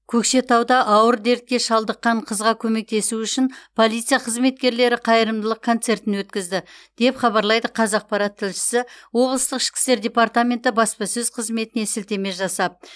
көкшетауда ауыр дертке шалдыққан қызға көмектесу үшін полиция қызметкерлері қайырымдылық концертін өткізді деп хабарлайды қазақпарат тілшісі облыстық ішкі істер департаменті баспасөз қызметіне сілтеме жасап